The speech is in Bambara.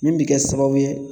Min bɛ kɛ sababu ye